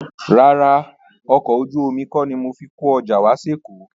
Rárá, ọkọ̀ ojú omi kọ́ ni mo fi kó ọjà wá sí Èkó